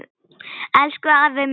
Elsku afi Muggur.